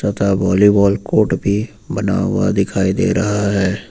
तथा volleyball court भी बना हुआ दिखाई दे रहा है।